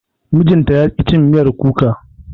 mijinta yaƙi cin miyar kuka